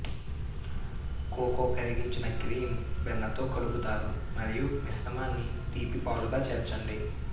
cocoa కరిగించిన cream వెన్నతో కలుపుతారు మరియు మిశ్రమాన్ని తీపి పాలుగా చేర్చండి